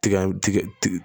Tiga tiga tiga